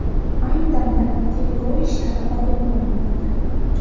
Ayni damda tergov ishlari olib borilmoqda.